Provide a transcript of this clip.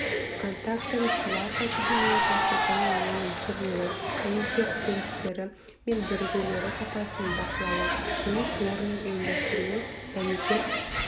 контактілі сварка технологиясы және оның түрлері дәнекер тігістері мен бірігулері сапасының бақылауы жұмыс орнының ұйымдастыруы дәнекер